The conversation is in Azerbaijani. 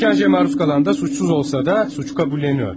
İşgəncəyə məruz qalan da suçsuz olsa da, suçu qəbulleniyor.